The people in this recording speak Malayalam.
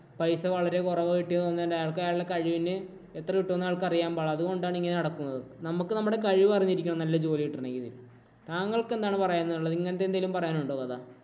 പൈസ വളരെ കുറവ് കിട്ടിയെന്നു പറഞ്ഞു അയാള്‍ക്ക് അയാളുടെ കഴിവിനെ എത്ര കിട്ടും എന്ന് അയാള്‍ക്ക് അറിയാന്‍ പാടില്ല. അതുകൊണ്ടാണിങ്ങനെ നടക്കുന്നത്. നമ്മക്ക് നമ്മുടെ കഴിവ് അറിഞ്ഞിരിക്കണം നല്ല ജോലി കിട്ടണമെങ്കില്. താങ്കള്‍ക്ക് എന്താണ് പറയാന്‍ ഉള്ളത്. ഇങ്ങനത്തെ എന്തെങ്കിലും പറയാന്‍ ഉണ്ടോ കഥ?